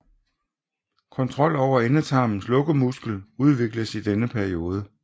Kontrol over endetarmens lukkemuskel udvikles i denne periode